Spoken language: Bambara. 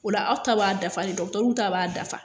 Ola aw ta b'a dafa le dɔgitɛriw ta b'a dafa